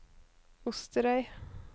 Osterøy